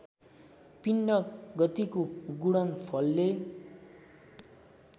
पिण्ड गतिको गुणनफलले